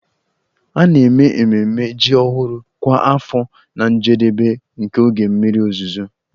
A na-eme ememme ji ọhụrụ kwa afọ na njedebe nke oge mmiri ozuzo